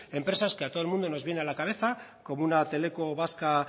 empresas que a todo el mundo nos viene a la cabeza como una teleco vasca